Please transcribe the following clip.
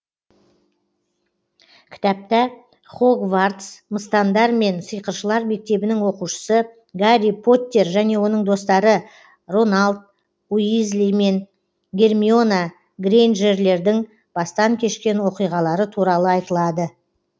кітапта хогвартс мыстандар мен сиқыршылар мектебінің оқушысы гарри поттер және оның достары роналд уизли мен гермиона грейнджерлердің бастан кешкен оқиғалары туралы айтылады